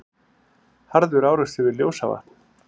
Harður árekstur við Ljósavatn